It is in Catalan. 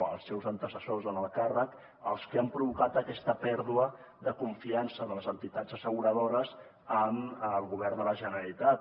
els seus antecessors en el càrrec els que han provocat aquesta pèrdua de confiança de les entitats asseguradores en el govern de la generalitat